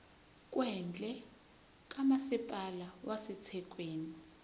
kwendle kamasipala wasethekwini